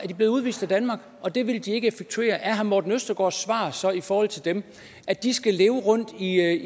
de blevet udvist af danmark og det vil de ikke effektuere er herre morten østergaards svar så i forhold til dem at de skal leve rundt i